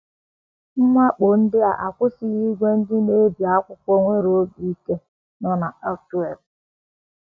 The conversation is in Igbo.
Mwakpo ndị a akwụsịghị ìgwè ndị na - ebi akwụkwọ nwere obi ike um nọ n’Antwerp.